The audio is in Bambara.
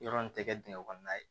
Yɔrɔ nin tɛ kɛ dingɛ kɔnɔna ye